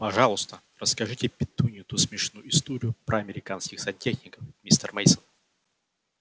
пожалуйста расскажите петунье ту смешную историю про американских сантехников мистер мейсон